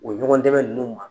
O ɲɔgɔndɛmɛ ninnu ma,